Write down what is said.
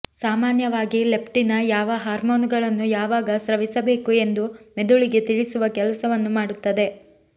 ಸಾಮಾನ್ಯವಾಗಿ ಲೆಪ್ಟಿನ್ ಯಾವ ಹಾರ್ಮೋನುಗಳನ್ನು ಯಾವಾಗ ಸ್ರವಿಸಬೇಕು ಎಂದು ಮೆದುಳಿಗೆ ತಿಳಿಸುವ ಕೆಲಸವನ್ನು ಮಾಡುತ್ತದೆ